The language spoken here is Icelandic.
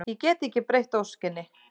Ég get ekki breytt óskinni.